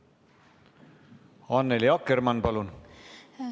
Annely Akkermann, palun!